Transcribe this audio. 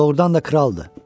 O doğrudan da kraldır.